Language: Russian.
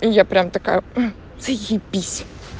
и я прямо такая мм заебись